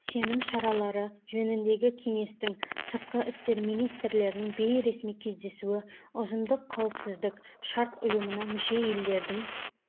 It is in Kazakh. сенім шаралары жөніндегі кеңестің сыртқы істер министрлерінің бейресми кездесуі ұжымдық қауіпсіздік шарт ұйымына мүше елдердің